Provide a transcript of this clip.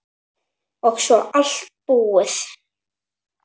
Og svo allt búið.